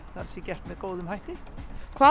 gert með góðum hætti hvað